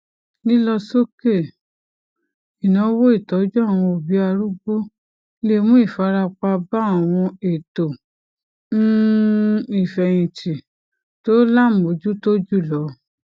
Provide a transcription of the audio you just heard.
lílọ sókè ìnáwó ìtọjú àwọn obi arúgbó le mú ìfarapa bá àwọn ètò um ìfẹyìntì tó lámojútó jùlọ